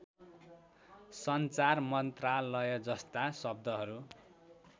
सञ्चार मन्त्रालयजस्ता शब्दहरू